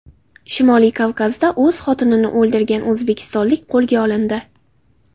Shimoliy Kavkazda o‘z xotinini o‘ldirgan o‘zbekistonlik qo‘lga olindi.